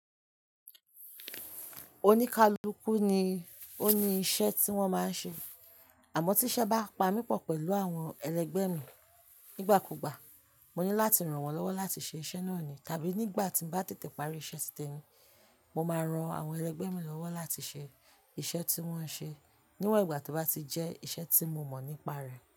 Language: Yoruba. Oníkálukú ni ó ni iṣẹ́ tí wọ́n máa ń ṣe, àmọ́ tí iṣẹ́ bá pa mì pọ̀ pẹ̀lú àwọn ẹlẹgbẹ́ mi nígbàkúgbà, mo ní láti ran wọ́n lọ́wọ́ láti ṣe iṣẹ́ náà ni. Tàbí nígbà tí n ba tètè parí iṣẹ́ titemi, mo máa ran àwọn ẹlẹgbẹ́ mi lọ́wọ́ láti ṣe iṣẹ́ tí wọ́n ń ṣe níwọ̀n ìgbà tí ó bá ti jẹ́ iṣẹ́ tí mo mọ̀ nípa rẹ̀.